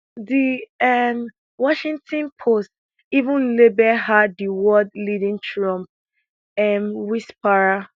di um washington post even label her di world leading trump um whisperer